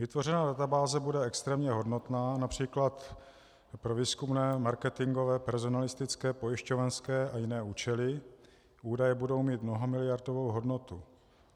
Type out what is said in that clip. Vytvořená databáze bude extrémně hodnotná například pro výzkumné, marketingové, personalistické, pojišťovnické a jiné účely, údaje budou mít mnohamiliardovou hodnotu.